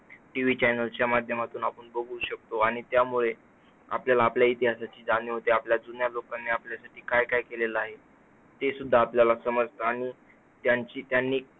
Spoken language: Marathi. TV serial च्या माध्यमातून आपण बघू शकतो आणि त्यामुळे आपल्याला आपल्या इतिहासाची जाणीव होते. आपल्या जुन्या लोकांनी आपल्यासाठी काय काय केले आहे, ते सुद्धा आपल्याला समजतं. त्यांची त्यांनी